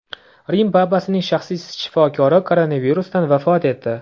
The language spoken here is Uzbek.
Rim papasining shaxsiy shifokori koronavirusdan vafot etdi.